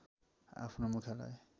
आफ्नो मुख्यालय